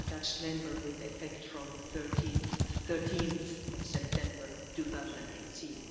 Schaden durch antibiotikaresistente Infektionen die finanziellen Auswirkungen der Wirtschaftskrise von 2008